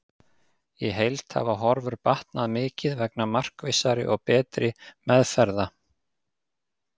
Í heild hafa horfur batnað mikið vegna markvissari og betri meðferða.